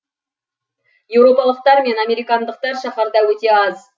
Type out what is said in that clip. еуропалықтар мен американдықтар шаһарда өте аз